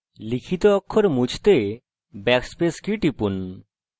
লিখিত অক্ষর মুছে ফেলতে backspace key টিপুন